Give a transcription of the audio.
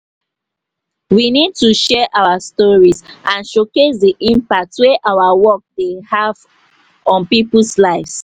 we need to share our stories and showcase di impact wey our work dey have on people's lives.